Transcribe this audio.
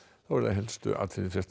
næstu fréttir